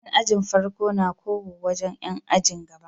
Yan ajin farko na kowo wajan Yan ajin gaba